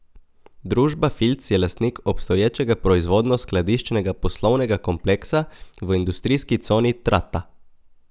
Družba Filc je lastnik obstoječega proizvodno skladiščnega poslovnega kompleksa v industrijski coni Trata.